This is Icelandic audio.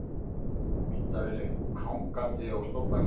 Myndavélin hangandi á stólbakinu.